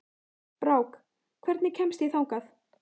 Brák, hvernig kemst ég þangað?